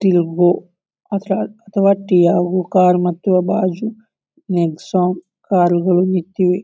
Till ಬೋ ಅದರ ಅಥವಾ ಟಿಯಾಗೋ ಕಾರ್ ಮತ್ತೆ ಬಾಜು ನೆಕ್ಸಾನ್ ಕಾರ್ ಗಳು ನಿಂತಿವೆ.